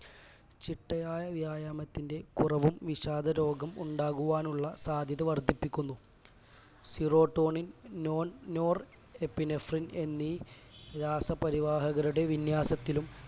ചിട്ടയായ വ്യായാമത്തിന്റെ കുറവും വിഷാദരോഗം ഉണ്ടാകുവാനുള്ള സാധ്യത വർധിപ്പിക്കുന്നു serotonin non norepinephrine എന്നീ രാസപരിവാഹകരുടെ വിന്യാസത്തിലും